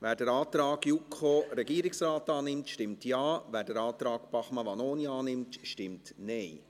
Wer den Antrag JuKo und Regierungsrat annimmt, stimmt Ja, wer den Antrag Bachmann/Vanoni annimmt, stimmt Nein.